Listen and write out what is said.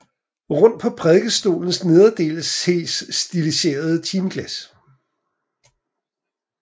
Rundt på prædikestolens nederste del ses stiliserede timeglas